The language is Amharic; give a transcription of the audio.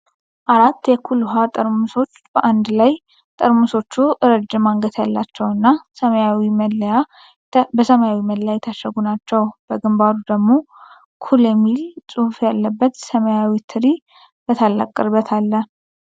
አራት የ"ኩል" ውሃ ጠርሙሶች በአንድ ላይ። ጠርሙሶቹ ረጅም አንገት ያላቸውና በሰማያዊ መለያ የታሸጉ ናቸው። በግንባሩ ደግሞ "ኩል" የሚል ጽሑፍ ያለበት ሰማያዊ ትሪ በታላቅ ቅርበት አለ።